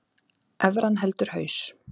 Evran heldur haus